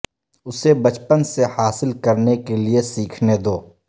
اسے بچپن سے حاصل کرنے کے لئے سیکھنے دو